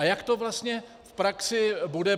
A jak to vlastně v praxi bude?